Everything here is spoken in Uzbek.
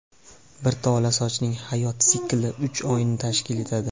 Bir tola sochning hayot sikli uch oyni tashkil etadi.